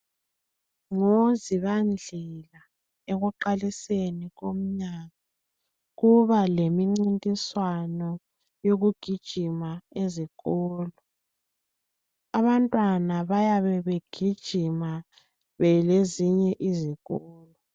NgoZibandlela ekuqaliseni komnyaka kuba lemincintiswano yokugijima ezikolo. Abantwana bayabe begijima belezinye izikolo.